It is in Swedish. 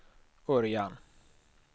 Örjan